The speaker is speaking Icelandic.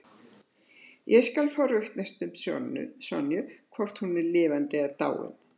Ég skal forvitnast um Sonju, hvort hún er lifandi eða dáin.